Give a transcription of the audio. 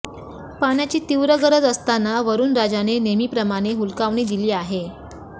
पाण्याची तीव्र गरज असताना वरूणराजाने नेहमीप्रमाणे हुलकावणी दिली आहे